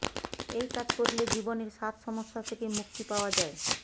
এই কাজ করলে জীবনের সাত সমস্যা থেকে মুক্তি পাওয়া যায়